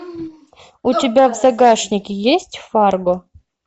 у тебя в загашнике есть фарго